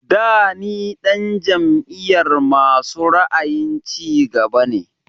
Da ni ɗan jam'iyar masu ra'ayin cigaba ne